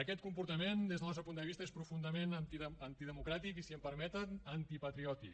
aquest comportament des del nostre punt de vista és profundament antidemocràtic i si em permeten antipatriòtic